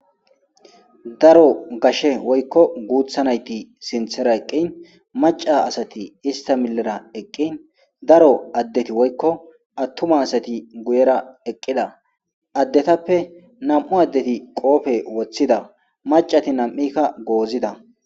Daro gashe woykko guuththa nayti sinththera eqqin macca asati ista miyyera eqqin daro addeti woykko attuma asati guyera eqqida, addetappe nami'u addeti qoope woththida maccati nami'ikka goozida.